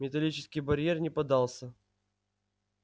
металлический барьер не поддался